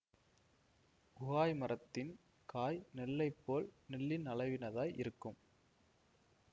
உகாய் மரத்தின் காய் நெல்லைப் போல் நெல்லின் அளவினதாய் இருக்கும்